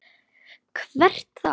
Hvert þá?